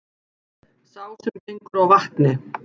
Sá sem gengur á vatni,